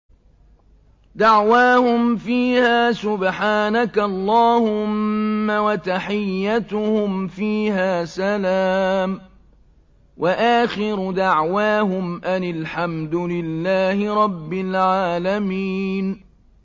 دَعْوَاهُمْ فِيهَا سُبْحَانَكَ اللَّهُمَّ وَتَحِيَّتُهُمْ فِيهَا سَلَامٌ ۚ وَآخِرُ دَعْوَاهُمْ أَنِ الْحَمْدُ لِلَّهِ رَبِّ الْعَالَمِينَ